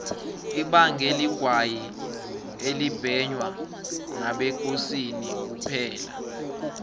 ibange ligwayi elibhenywa ngabekosini kuphela